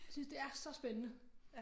Synes det er så spændende